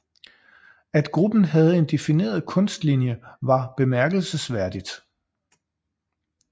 At gruppen havde en defineret kunstlinje var bemærkelsesværdigt